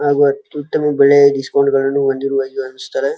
ಹಾಗು ಅತ್ಯುತಮ ಬಳೆ ಅನಸ್ತಾರೆ.